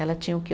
Ela tinha o quê?